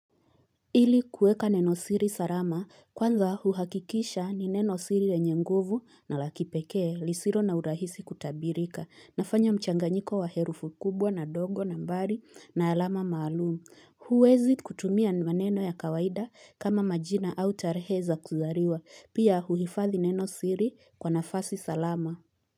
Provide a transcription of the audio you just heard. Ili kueka neno siri sarama kwanza huhakikisha ni neno siri lenye nguvu na la kipekee lisiro na urahisi kutabirika nafanya mchanganyiko wa herufu kubwa na ndongo nambari na alama maalum huwezi kutumia maneno ya kawaida kama majina au tarehe za kuzariwa pia huhifathi neno siri kwa nafasi salama.